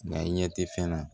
Nka i ɲɛ tɛ fɛn na